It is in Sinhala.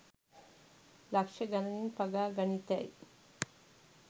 ලක්ෂ ගණනින් පගා ගනිතැයි